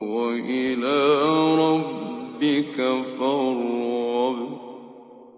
وَإِلَىٰ رَبِّكَ فَارْغَب